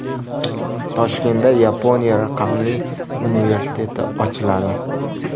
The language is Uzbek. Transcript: Toshkentda Yaponiya raqamli universiteti ochiladi.